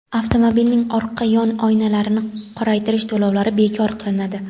avtomobilning orqa yon oynalarini qoraytirish to‘lovlari bekor qilinadi;.